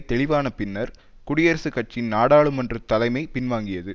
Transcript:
தெளிவான பின்னர் குடியரசுக் கட்சியின் நாடாளுமன்ற தலைமை பின்வாங்கியது